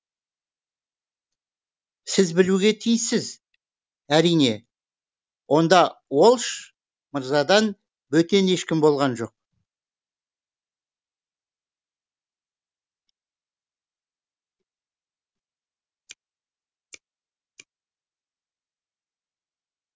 сіз білуге тиіссіз әрине онда уолш мырзадан бөтен ешкім болған жоқ